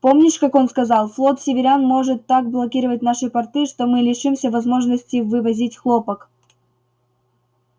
помнишь как он сказал флот северян может так блокировать наши порты что мы лишимся возможности вывозить хлопок